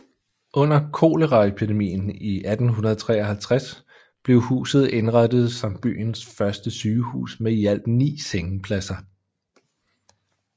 Under koleraepedien i 1853 blev huset indrettet som byens første sygehus med i alt ni sengepladser